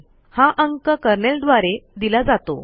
हा अंक कर्नेल द्वारे दिला जातो